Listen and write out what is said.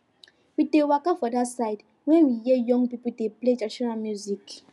we dey waka for that side when we hear young people dey play traditional music